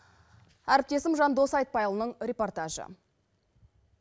әріптесім жандос айтпайұлының репортажы